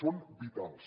són vitals